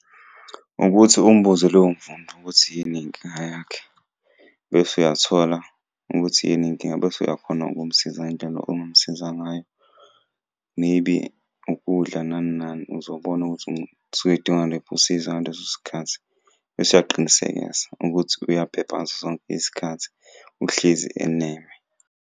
Ukuthi umbuze loyo mfundi ukuthi yini inkinga yakhe, bese uyathola ukuthi yini inkinga, bese uyakhona ukumsiza ngendlela ongamusiza ngayo, maybe ukudla nani nani. Uzobona ukuthi usuke edinga liphi usizo ngaleso sikhathi, bese uyaqinisekisa ukuthi uyaphepha ngaso sonke isikhathi. Uhlezi eneme.